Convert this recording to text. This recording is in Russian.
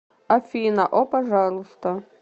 афина о пожалуйста